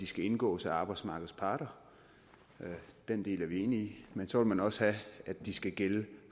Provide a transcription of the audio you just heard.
skal indgås af arbejdsmarkedets parter den del er vi enige i men så vil man også have at de skal gælde